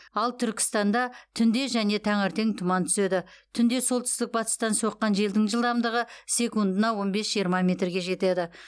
ал түркістанда түнде және таңертең тұман түседі түнде солтүстік батыстан соққан желдің жылдамдығы секундына он бес жиырма метрге жетеді